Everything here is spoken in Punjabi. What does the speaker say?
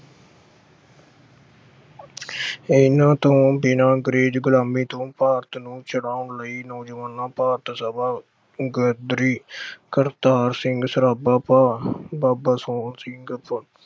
ਇਹਨਾਂ ਤੋਂ ਬਿਨਾਂ ਅੰਗਰੇਜ਼ ਗੁਲਾਮੀ ਤੋਂ ਭਾਰਤ ਨੂੰ ਛਡਾਉਣ ਲਈ ਨੌਜਵਾਨਾਂ ਭਾਰਤ ਸਭਾ ਗੱਦਰੀ ਅਹ ਕਰਤਾਰ ਸਿੰਘ ਸਰਾਭਾ ਭਾ ਅਹ ਬਾਬਾ ਸੋਹਣ ਸਿੰਘ